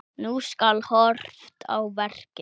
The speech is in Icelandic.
Nú skal horft á verkin.